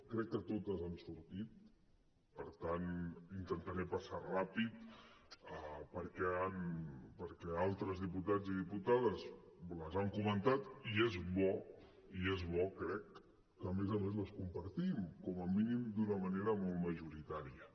crec que totes han sortit per tant intentaré pas·sar ràpid perquè altres diputats i diputades les han comentat i és bo i és bo crec que a més a més les compartim com a mínim d’una manera molt majoritària